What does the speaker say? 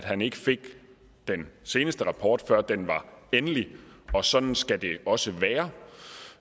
at han ikke fik den seneste rapport før den var endelig og at sådan skal det også være